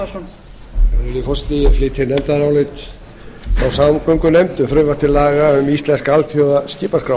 virðulegi forseti ég flyt nefndarálit frá samgöngunefnd um frumvarp til laga um íslenska alþjóðlega skipaskrá